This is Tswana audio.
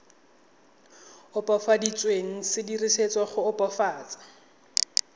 opafaditsweng se dirisetswa go opafatsa